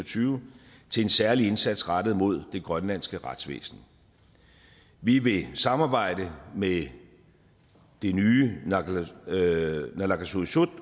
tyve til en særlig indsats rettet mod det grønlandske retsvæsen vi vil samarbejde med det nye naalakkersuisut